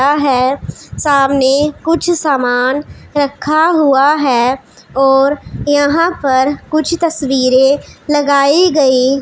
है सामने कुछ समान रखा हुआ है और यहां पर कुछ तस्वीरें लगाई गई--